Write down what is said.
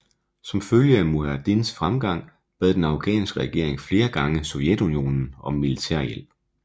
Som følge af mujahedins fremgang bad den afghanske regering flere gange Sovjetunionen om militærhjælp